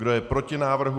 Kdo je proti návrhu?